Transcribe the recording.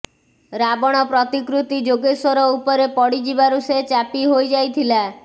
ରାବଣ ପ୍ରତିକୃତି ଯୋଗେଶ୍ୱର ଉପରେ ପଡ଼ିଯିବାରୁ ସେ ଚାପି ହୋଇଯାଇଥିଲା